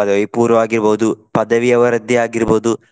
ಪದವಿಪೂರ್ವ ಆಗಿರ್ಬಹುದು ಪದವಿಯವರದ್ದೇ ಆಗಿರ್ಬಹುದು.